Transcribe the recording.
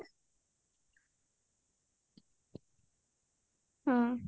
ହଁ